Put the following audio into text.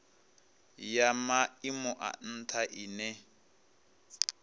ya maimo a ntha ine